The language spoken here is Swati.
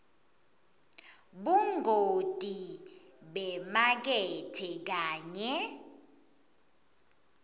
bungoti bemakethe kanye